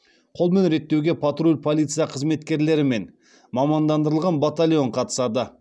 қолмен реттеуге патруль полиция қызметкерлері мен мамандандырылған батальон қатысады